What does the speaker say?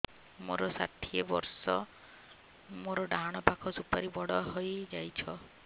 ମୋର ଷାଠିଏ ବର୍ଷ ମୋର ଡାହାଣ ପାଖ ସୁପାରୀ ବଡ ହୈ ଯାଇଛ